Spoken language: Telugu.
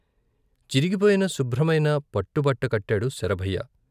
చిరిగిపోయిన శుభ్రమైన పట్టుబట్ట కట్టాడు శరభయ్య.